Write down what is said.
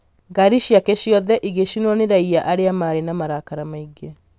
ngari ciake ciothe igĩcinwo nĩ raiya arĩa maarĩ na marakara maingĩ